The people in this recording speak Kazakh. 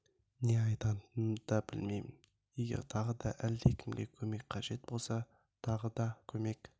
не айтатынымды да білмеймін егер тағы да әлде кімге көмек қажет болса тағы да көмек